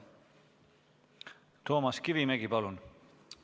Toomas Kivimägi, palun!